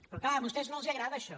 però és clar a vostès no els agrada això